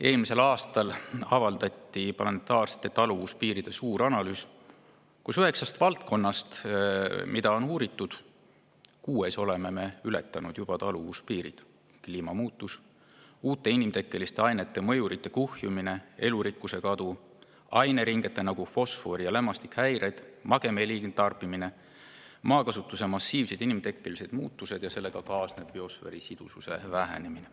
Eelmisel aastal avaldati suur planetaarsete taluvuspiiride analüüs, mille järgi me üheksast valdkonnast, mida on uuritud, oleme kuues taluvuspiirid juba ületanud: kliimamuutus, uute inimtekkeliste ainete mõjurite kuhjumine, elurikkuse kadu, aineringete, nagu fosfor ja lämmastik, häired, magevee liigtarbimine, maakasutuse massiivsed inimtekkelised muutused ja sellega kaasnev biosfääri sidususe vähenemine.